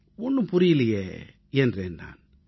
ஒண்ணும் புரியலையே என்றேன் நான்